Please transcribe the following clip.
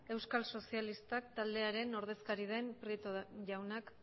euskal sozialistak taldearen ordezkaria den prieto jaunak